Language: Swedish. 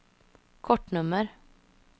kortnummer